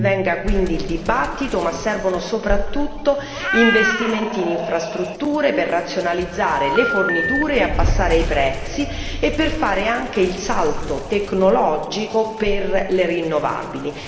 Ben venga quindi il dibattito, ma servono soprattutto investimenti in infrastrutture per razionalizzare le forniture e abbassare i prezzi e per fare anche il salto tecnologico per le rinnovabili.